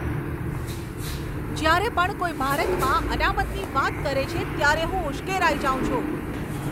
જ્યારે પણ કોઈ ભારતમાં અનામતની વાત કરે છે ત્યારે હું ઉશ્કેરાઈ જાઉં છું.